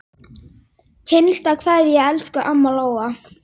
HINSTA KVEÐJA Elsku amma Lóa.